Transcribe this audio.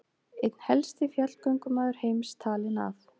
Einn helsti fjallgöngumaður heims talinn af